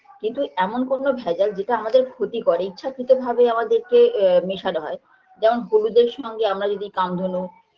কিন্তু এমন কোনো ভেজাল যেটা আমাদের ক্ষতি করে ইচ্ছাকৃতভাবে আমাদেরকে এ মেশানো হয় যেমন হলুদের সঙ্গে আমরা যদি কামধেনু